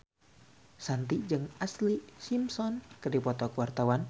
Shanti jeung Ashlee Simpson keur dipoto ku wartawan